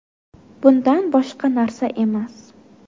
Bundan boshqa narsa emas.